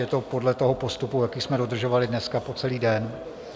Je to podle toho postupu, jaký jsme dodržovali dnes po celý den.